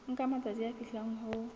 nka matsatsi a fihlang ho